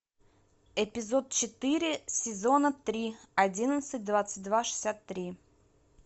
эпизод четыре сезона три одиннадцать двадцать два шестьдесят три